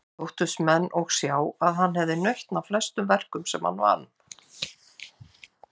Þóttust menn og sjá að hann hefði nautn af flestum verkum sem hann vann.